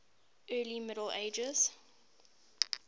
early middle ages